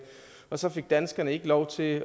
og så fik danskerne ikke lov til